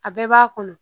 A bɛɛ b'a kɔnɔ